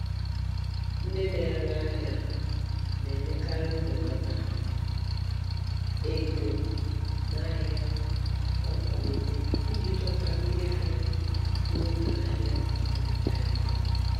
Ndị na-ere ahịa na-enyekarị Mbelata ego n'ahia nakwa nkwalite iji dọta ndị ahịa n'oge ahia adichaghi.